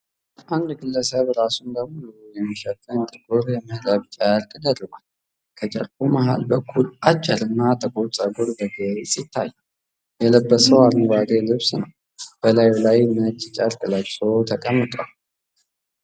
አንድ ግለሰብ ራሱን ሙሉ በሙሉ የሚሸፍን ጥቁር የመረብ ጨርቅ ደርቧል። ከጨርቁ መሃል በኩል አጭርና ጥቁር ጸጉር በግልጽ ይታያል። የለበሰው አረንጓዴ ልብስ ነው፣ በላዩ ላይ ነጭ ጨርቅ ለብሶ ተቀምጧል።